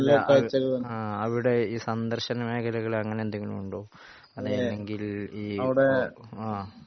ആഹ് അല്ല അഹ് അവിടെ ഈ സന്ദർശന മേഖലകൾ എങ്ങിനെ എന്തെങ്കിലും ഉണ്ടോ അങ്ങിനെണെങ്കിൽ ഈ ആഹ്